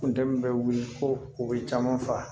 Funtɛni bɛ wuli ko u bɛ caman fa